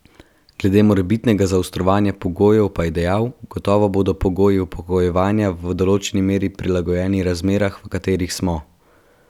Glede morebitnega zaostrovanja pogojev pa je dejal: 'Gotovo bodo pogoji upokojevanja v določeni meri prilagojeni razmeram, v katerih smo.